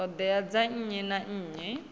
ṱhoḓea dza nnyi na nnyi